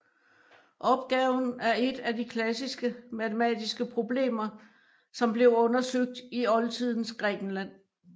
Opgaven er et af de klassiske matematiske problemer som blev undersøgt i oldtidens Grækenland